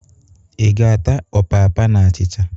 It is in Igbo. Ị ga-ata ọpapa na achịcha?